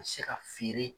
Se ka feere